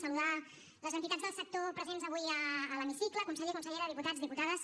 saludar les entitats del sector presents avui a l’hemicicle conseller consellera diputats diputades